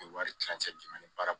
wari tilancɛ di baara